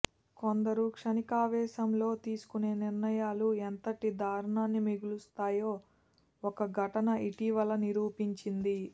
కొందరు క్షణికావేశంలో తీసుకునే నిర్ణయాలు ఎంతటి దారుణాన్ని మిగులుస్తాయో ఒక ఘటన ఇటీవల నిరూపించింది